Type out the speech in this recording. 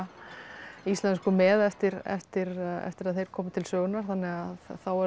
íslensku með eftir eftir eftir að þeir komu til sögunnar þannig að þá eru þetta